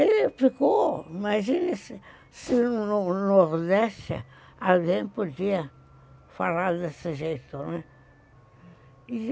Ele ficou, imagina se se no no Nordeste alguém podia falar desse jeito, né?